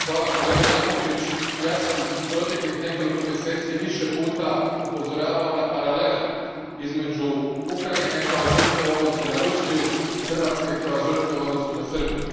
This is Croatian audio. Gospodine predsjedniče, hvala kolega Jakovčić, ja sam u proteklih nekoliko mjeseci više puta upozoravao na paralele između Ukrajine kao žrtve u odnosu na Rusiju i Hrvatske kao žrtve u odnosu na Srbiju.